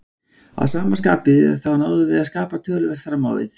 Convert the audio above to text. Að sama skapi þá náðum við að skapa töluvert fram á við.